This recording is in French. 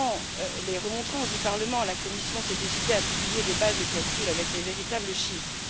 Face aux remontrances du Parlement, la Commission s'est décidée à publier des bases de calcul avec les véritables chiffres.